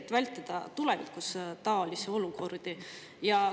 Seda, et tulevikus taolisi olukordi vältida.